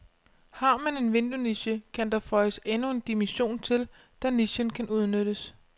Har man en vinduesniche, kan der føjes endnu en dimension til, da nichen kan udnyttes.